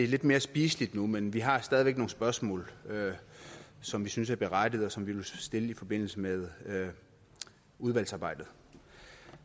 lidt mere spiseligt men vi har stadig væk nogle spørgsmål som vi synes er berettigede og som vi vil stille i forbindelse med udvalgsarbejdet